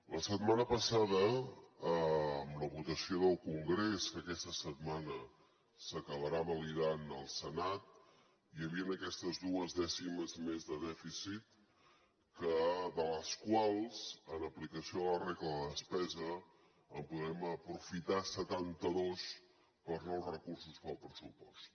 la setmana passada amb la votació del congrés que aquesta setmana s’acabarà validant al senat hi havien aquestes dues dècimes més de dèficit de les quals en aplicació de la regla de la despesa en podrem aprofitar setanta dos per a nous recursos per al pressupost